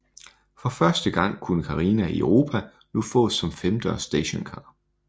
For første gang kunne Carina i Europa nu fås som femdørs stationcar